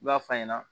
I b'a f'a ɲɛna